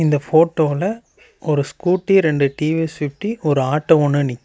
இந்த போட்டோல ஒரு ஸ்கூட்டி ரெண்டு டீ_வி_எஸ் ஃபிப்டி ஒரு ஆட்டோ ஒன்னு நிக்கிது.